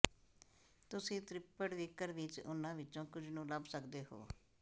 ਤੁਸੀਂ ਤ੍ਰਿਪੜਵਿੱਕਰ ਵਿੱਚ ਉਨ੍ਹਾਂ ਵਿੱਚੋਂ ਕੁਝ ਨੂੰ ਲੱਭ ਸਕਦੇ ਹੋ